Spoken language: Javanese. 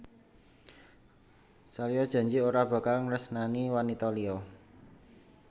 Salya janji ora bakal nresnani wanita liya